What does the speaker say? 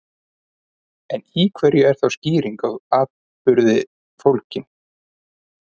En í hverju er þá skýring á atburði fólgin?